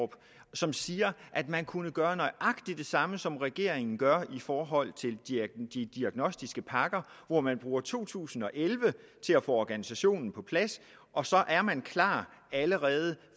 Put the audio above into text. som siger at man kunne gøre nøjagtig det samme som regeringen gør i forhold til de diagnostiske pakker hvor man bruger to tusind og elleve til at få organisationen på plads og så er man klar allerede